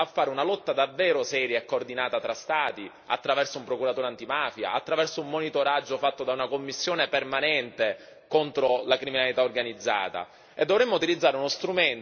Dovremmo imparare a fare una lotta davvero seria e coordinata tra Stati, attraverso un procuratore antimafia, attraverso un monitoraggio fatto da una commissione permanente contro la criminalità organizzata.